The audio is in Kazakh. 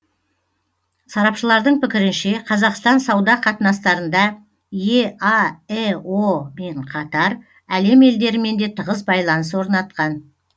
сарапшылардың пікірінше қазақстан сауда қатынастарында еаэо мен қатар әлем елдерімен де тығыз байланыс орнатқан